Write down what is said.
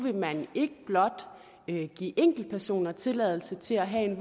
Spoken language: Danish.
ikke blot vil give enkeltpersoner tilladelse til at have